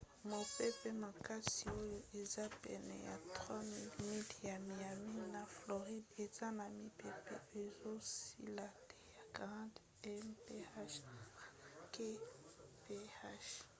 mopepe makasi oyo eza pene ya 3 000 miles ya miami na floride aza na mipepe ezosila te ya 40 mph 64 kph